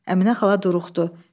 Əminə xala duruxdu.